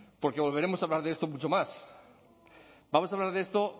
porque volveremos a hablar de esto mucho más vamos a hablar de esto